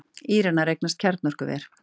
Íranar eignast kjarnorkuver